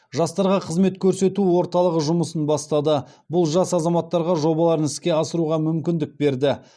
жастарға қызмет көрсету орталығы жұмысын бастады бұл жас азаматтарға жобаларын іске асыруға мүмкіндік берді